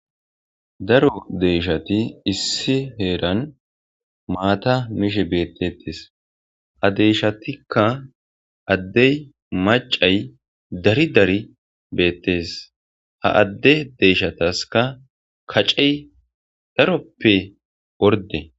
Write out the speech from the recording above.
daro deyshati issi heeran maata mishe beettetes adeyshatikka addey macay dari dari beettes ha adde deeshataska kacey daroppe orde